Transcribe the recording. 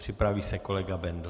Připraví se kolega Bendl.